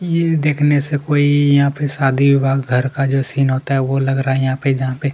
ये देखने से कोई शादी विवाह का घर का सीन होता है वह लग रहा है यहाँ पे जहाँ पे --